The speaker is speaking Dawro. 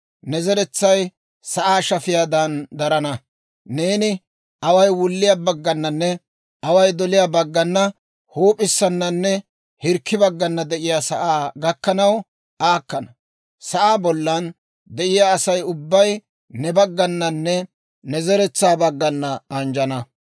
Ne zeretsay sa'aa shafiyaadan darana; neeni away wulliyaa baggananne, away doliyaa baggana, huup'issananne hirkki baggana de'iyaa sa'aa gakkanaw aakkana; sa'aa bollan de'iyaa Asay ubbay ne baggananne ne zeretsaa baggana anjjettana